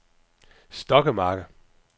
Stokkemarke